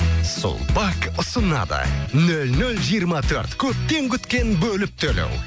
сулпак ұсынады нөл нөл жиырма төрт көптен күткен бөліп төлеу